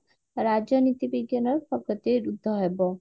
ରାଜନୀତି ବିଜ୍ଞାନ ରୁଦ୍ଧ ହେବ